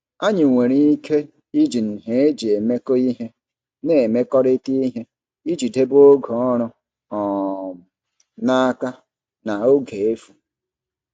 Anyị nwere ike iji nhe eji emekọ ihe na-emekọrịta ihe iji debe oge ọrụ um n'aka na oge efu.